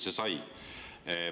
See sai.